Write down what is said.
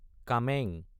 Kameng